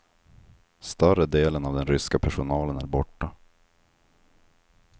Större delen av den ryska personalen är borta.